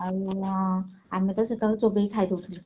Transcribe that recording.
ଆଉ ଅଁ ଆମେ ତ ସେତେବେଳେ ପାଟିରେ ଚୋବେଇକି ଖାଇ ଦଉଥିଲୁ।